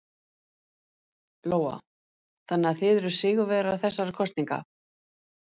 Lóa: Þannig að þið eruð sigurvegarar þessara kosninga?